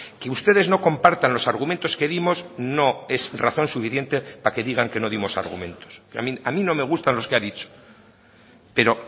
que ustedes no compartan los argumentos que dimos no es razón suficiente para que digan que no dimos argumentos a mí no me gustan los que ha dicho pero